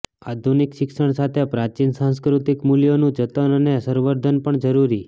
આધુનિક શિક્ષણ સાથે પ્રાચિન સાંસ્કૃતિક મૂલ્યોનું જતન અને સંવર્ધન પણ જરૂરી